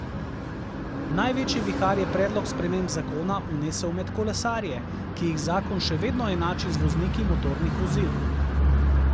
Največji vihar je predlog sprememb zakona vnesel med kolesarje, ki jih zakon še vedno enači z vozniki motornih vozil.